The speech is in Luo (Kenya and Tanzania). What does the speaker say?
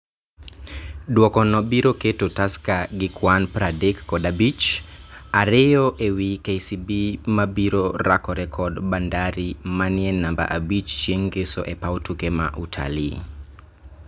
Duokono biro keto Tusker gi kwan pradek kod abich, ariyo ewi KCB mabiro rakore kod Bandari manie namba abich chieng ngeso epaw tuke ma Utalii